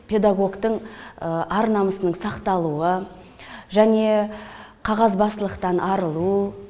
педагогтің ар намысының сақталуы және қағазбастылықтан арылу